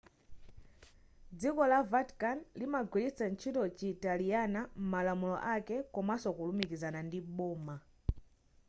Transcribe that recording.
dziko la vatican limagwiritsa ntchito chitaliyana m'malamulo ake komanso kulumikizana ndi boma